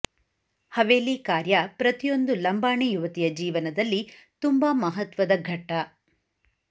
ಹವೇಲಿ ಕಾರ್ಯ ಪ್ರತಿಯೊಂದು ಲಂಬಾಣಿ ಯುವತಿಯ ಜೀವನದಲ್ಲಿ ತುಂಬಾ ಮಹತ್ವದ ಘಟ್ಟ